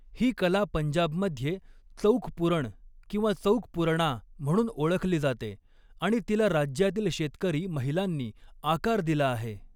ही कला पंजाबमध्ये चौक पुरण किंवा चौकपुरणा म्हणून ओळखली जाते आणि तिला राज्यातील शेतकरी महिलांनी आकार दिला आहे.